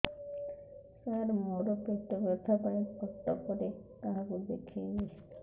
ସାର ମୋ ର ପେଟ ବ୍ୟଥା ପାଇଁ କଟକରେ କାହାକୁ ଦେଖେଇବି